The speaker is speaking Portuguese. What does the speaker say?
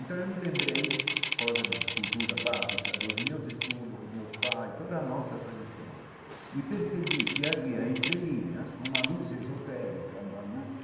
Então eu me lembrei, coisa de cultura básica, dos meus estudos, com meus pais, toda a nossa tradição, e percebi que havia entre linhas uma luz esotérica, uma luz